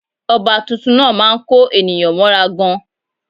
Ọba tuntun náà má a ń kó ènìyàn mọ́ra gan